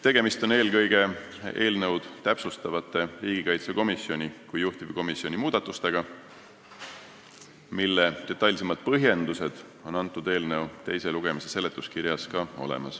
Tegemist on eelkõige eelnõu täpsustavate, riigikaitsekomisjoni kui juhtivkomisjoni muudatustega, mille detailsemad põhjendused on olemas eelnõu teise lugemise seletuskirjas.